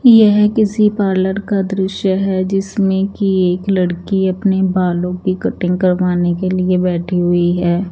यह किसी पार्लर का दृश्य हैं जिसमें की एक लड़की अपने बालो की कटिंग करवाने के लिए बैठी हुई हैं।